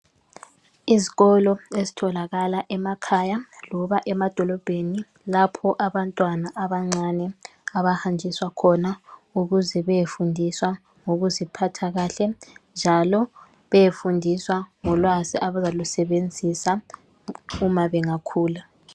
Izikolo ezitholakala emakhaya loba emadolobheni lapho abantwana abancane abahanjiswa khona ukuze beyefundiswa ngokuzipha kahle, njalo beyefundiswa ngolwazi abazalusebenzisa uma bengakhula.